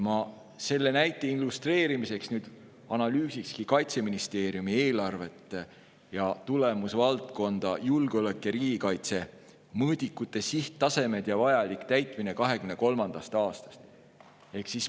Ma selle illustreerimiseks nüüd analüüsiksingi Kaitseministeeriumi eelarvet ja tulemusvaldkonda "Julgeolek ja riigikaitse" mõõdikuid, sihttasemed ja täitmist 2023. aastal.